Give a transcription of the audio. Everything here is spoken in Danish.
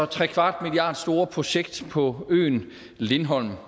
trekvart milliard store projekt på øen lindholm